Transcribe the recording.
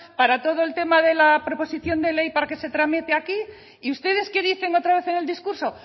para todo el tema de la proposición de ley para que se tramite aquí y ustedes qué dicen otra vez en el discurso